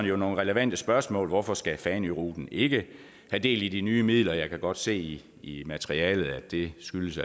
nogle relevante spørgsmål hvorfor skal fanøruten ikke have del i de nye midler jeg kan godt se i materialet at det skyldes